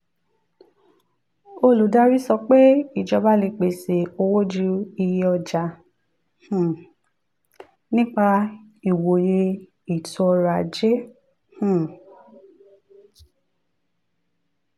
olùdarí sọ pé ìjọba lè pèsè owó ju iye ọjà um nípa ìwòye ètò ọrọ̀ ajé. um